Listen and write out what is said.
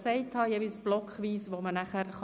Man kann sich jeweils blockweise äussern.